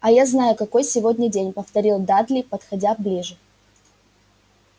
а я знаю какой сегодня день повторил дадли подходя ближе